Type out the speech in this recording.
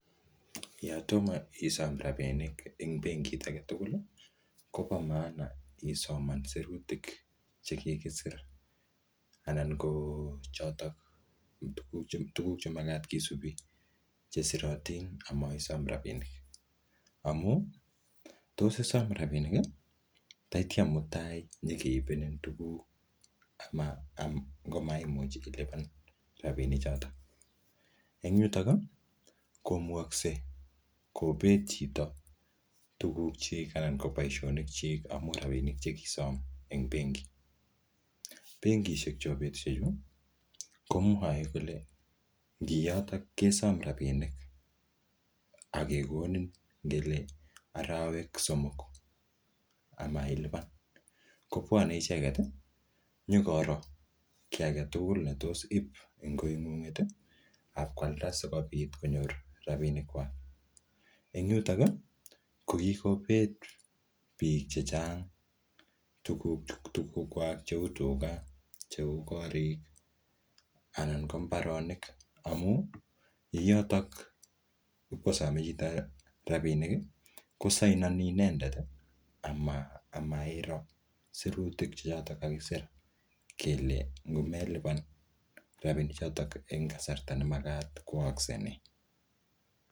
Yatomo isom rabinik eng benkit age tugul, kobo maana isoman sirutik che kikisir. Anan ko chotok tuguk che tuguk che magat kisubi che sirotin amaisom rabinik. Amu, tos isom rabinik, tatya mutai nyikeipenin tuguk ama ngomaimuch ilipan rabinik chotok. Eng yutok, komugakse kobet chito tuguk chik anan ko boisonik chik amu rabinik che kisom eng benki. Benkishek chebo betusiek chu, komwae kole ngi yotok kesom rabinik, akekokin ngele arawek somok amailipan, kobwane icheket nyikoro kiy age tugul ne tos ip eng koingunget akwalda sikobit konyor rabinik kwak. Eng yutok, ko kikobet biik chechang tuguk-tuguk kwak cheu tuga, cheu korik, anan ko mbaronik. Amu, ing yotok ipkosame chito rabinik, kosainani inendet amaa-amairo sirutik che chotok kakisir kele ngomelipan rabinik chotok eng kasarta ne makat, ko aakse nee?